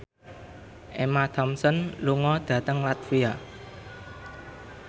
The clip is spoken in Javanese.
Emma Thompson lunga dhateng latvia